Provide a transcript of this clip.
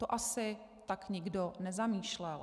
To asi tak nikdo nezamýšlel.